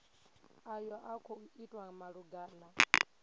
ayo a khou itwa malugana